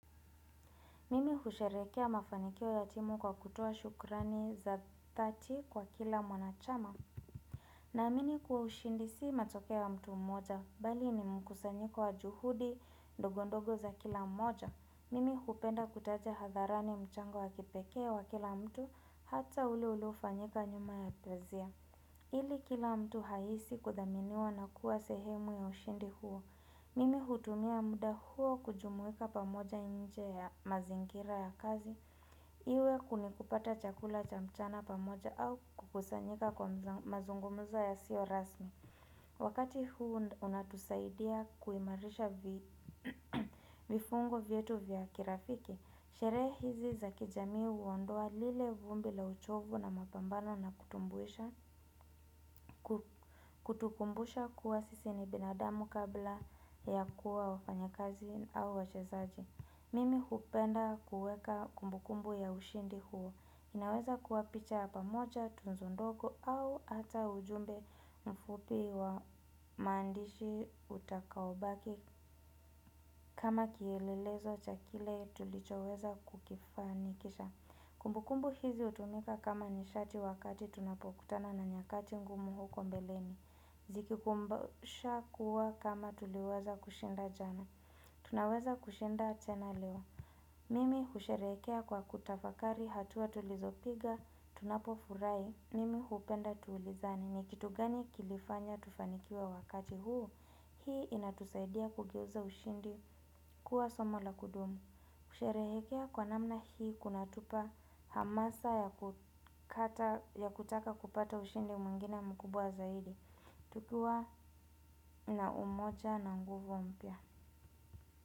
Mimi husherekea mafanikio ya timu kwa kutoa shukurani za thati kwa kila mwanachama. Naamini kuwa ushindi si matokeo ya mtu mmoja, bali ni mkusanyiko wa juhudi ndogo ndogo za kila mmoja. Mimi hupenda kutacha hadharani mchango wa kipeke wa kila mtu hata ule uliofanyika nyuma ya pazia. Ili kila mtu haisi kuthaminiwa na kuwa sehemu ya ushindi huo. Mimi hutumia muda huo kujumuika pamoja nje ya mazingira ya kazi Iwe kuni kupata chakula cha mchana pamoja au kukusanyika kwa mazungumuzo yasiyo rasmi Wakati huu unatusaidia kuimarisha vifungo vietu vya kirafiki Sherehe hizi za kijamii huondoa lile vumbi la uchovu na mapambana na kutukumbusha kuwa sisi ni binadamu kabla ya kuwa wafanyakazi au wachezaji. Mimi hupenda kuweka kumbukumbu ya ushindi huo. Inaweza kuwa picha ya pamocha tunzondogo au ata ujumbe mfupi wa mandishi utakaobaki kama kielelezo cha kile tulichoweza kukifanikisha. Kumbukumbu hizi utumika kama nishati wakati tunapokutana na nyakati ngumu huko mbeleni. Ziki kumbasha kuwa kama tuliweza kushinda jana Tunaweza kushinda tena leo Mimi husherehekea kwa kutafakari hatuwa tulizopiga Tunapo furahi Mimi hupenda tulizane ni kitu gani kilifanya tufanikiwe wakati huu Hii inatusaidia kugeuza ushindi kuwa somo la kudumu kusherehekea kwa namna hii kunatupa hamasa ya kutaka kupata ushindi mwingine mkubwa zaidi tukiwa na umoja na nguvu mpya.